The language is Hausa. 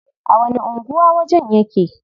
A wani anguwa wajen yake?